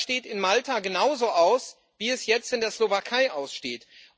Das steht in Malta genauso aus wie es jetzt in der Slowakei aussteht.